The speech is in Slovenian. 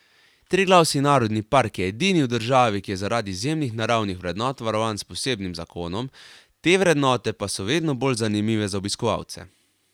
Triglavski narodni park je edini v državi, ki je zaradi izjemnih naravnih vrednot varovan s posebnim zakonom, te vrednote pa so vedno bolj zanimive za obiskovalce.